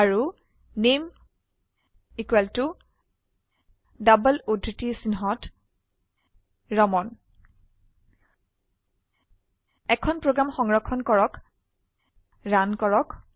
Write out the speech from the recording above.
আৰু নামে equal to double উদ্ধৃতি চিনহত ৰামান এখন প্ৰোগ্ৰাম সংৰক্ষণ কৰক ৰান কৰক